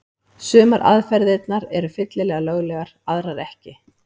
Sumar aðferðirnar eru fyllilega löglegar, aðrar ekki.